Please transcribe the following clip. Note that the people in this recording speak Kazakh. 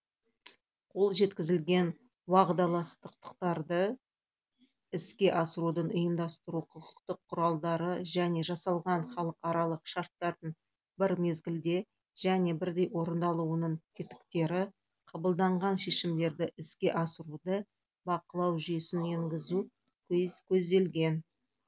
қол жеткізілген уағдаластықтарды іске асырудың ұйымдастыру құқықтық құралдары және жасалған халықаралық шарттардың бір мезгілде және бірдей орындалуының тетіктері қабылданған шешімдерді іске асыруды бақылау жүйесін енгізу көзделген